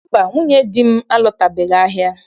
Mba, nwunye di nne m alọtabeghị ahịa